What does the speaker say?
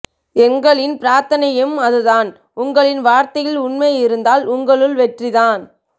எண்களின் பிரார்த்தனையும் அதுதான் உங்களின் வார்த்தையில் உண்மை இருந்தால் உங்கள்ளு வெற்றிதான்